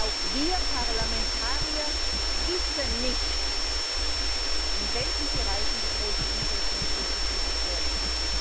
Auch wir Parlamentarier wissen nicht, in welchen Bereichen die größten Umsetzungsdefizite vorliegen.